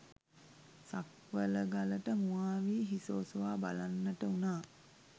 සක්වළගලට මුවා වී හිස ඔසවා බලන්නට වුණා.